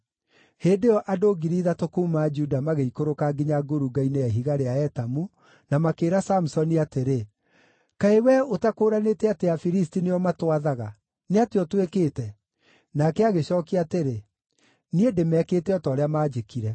Hĩndĩ ĩyo andũ ngiri ithatũ kuuma Juda magĩikũrũka nginya ngurunga-inĩ ya ihiga rĩa Etamu na makĩĩra Samusoni atĩrĩ, “Kaĩ wee ũtakũũranĩte atĩ Afilisti nĩo matwathaga? Nĩ atĩa ũtwĩkĩte?” Nake agĩcookia atĩrĩ, “Niĩ ndĩmekĩte o ta ũrĩa maanjĩkire.”